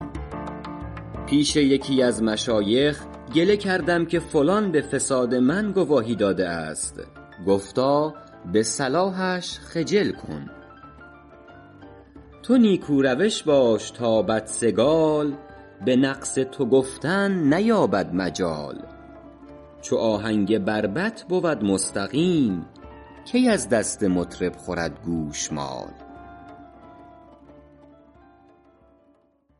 پیش یکی از مشایخ گله کردم که فلان به فساد من گواهی داده است گفتا به صلاحش خجل کن تو نیکو روش باش تا بدسگال به نقص تو گفتن نیابد مجال چو آهنگ بربط بود مستقیم کی از دست مطرب خورد گوشمال